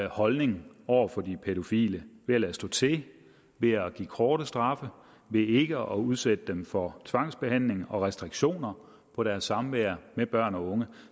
holdning over for de pædofile ved at lade stå til ved at give korte straffe og ved ikke at udsætte dem for tvangsbehandling og restriktioner på deres samvær med børn og unge